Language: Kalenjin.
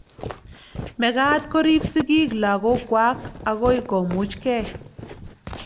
mekat koriib sigiik lagok kwak agoi komuch gei